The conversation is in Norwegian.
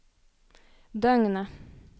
døgnet